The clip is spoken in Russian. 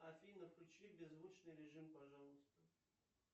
афина включи беззвучный режим пожалуйста